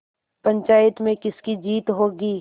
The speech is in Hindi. पंचायत में किसकी जीत होगी